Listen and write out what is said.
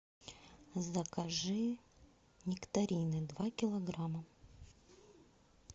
закажи нектарины два килограмма